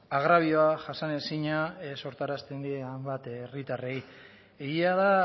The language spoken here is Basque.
agrabio jasanezina sortarazten die hainbat herritarrei egia da